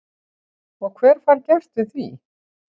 Og hver fær gert við því?